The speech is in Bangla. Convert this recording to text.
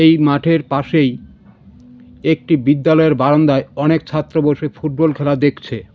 এই মাঠের পাশেই একটি বিদ্যালয়ের বারান্দায় অনেক ছাত্র বসে ফুটবল খেলা দেখছে .